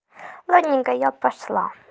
ладненько я пошла